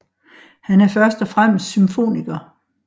Han er først og fremmest symfoniker